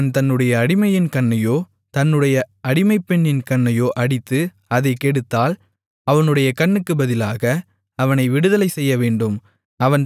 ஒருவன் தன்னுடைய அடிமையின் கண்ணையோ தன்னுடைய அடிமைப்பெண்ணின் கண்ணையோ அடித்து அதைக் கெடுத்தால் அவனுடைய கண்ணுக்குப் பதிலாக அவனை விடுதலை செய்யவேண்டும்